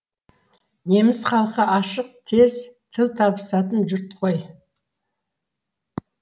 неміс халқы ашық тез тіл табысатын жұрт қой